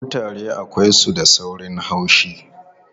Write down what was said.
Kutare akwai su da saurin haushi.